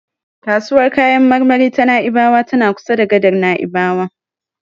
Kasuwar kayan marmari ta Na'ibawa tana kusa da gadar Na'ibawa.